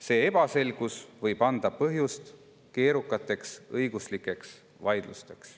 "See ebaselgus võib anda põhjust keerukateks õiguslikeks vaidlusteks.